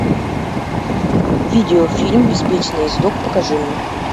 видео фильм беспечный ездок покажи мне